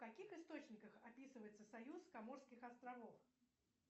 в каких источниках описывается союз коморских островов